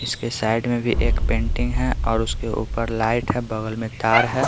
इसके साइड में भी एक पेंटिंग है और उसके ऊपर लाइट है बगल में तार है।